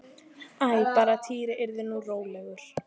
Æ, bara að Týri yrði nú rólegur.